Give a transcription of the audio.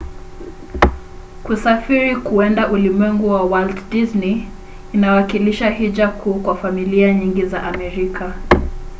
kusafiri kuenda ulimwengu wa walt disney inawakilisha hija kuu kwa familia nyingi za amerika